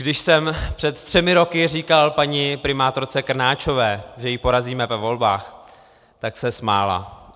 Když jsem před třemi roky říkal paní primátorce Krnáčové, že ji porazíme ve volbách, tak se smála.